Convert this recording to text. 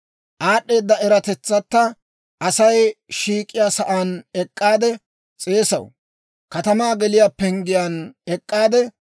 Aad'd'eeda eratetsatta Asay shiik'iyaa sa'aan ek'k'aade s'eesaw; katamaa geliyaa penggiyaan ek'k'aade,